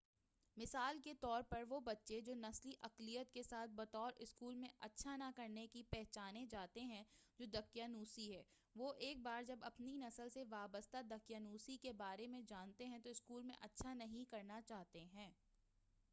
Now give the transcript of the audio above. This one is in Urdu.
مثال کے طور پر وہ بچے جو نسلی اقلیت کے ساتھ بطور اسکول میں اچھا نہ کرنے کے پہچانے جاتے ہیں جو دقیانوسی ہے وہ ایک بار جب اپنی نسل سے وابستہ دقیانوسی کے بارے میں جانتے ہیں تو اسکول میں اچھا نہیں کرنا چاہتے ہیں